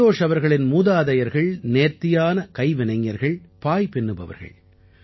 சந்தோஷ் அவர்களின் மூதாதையர்கள் நேர்த்தியான கைவினைஞர்கள் பாய் பின்னுபவர்கள்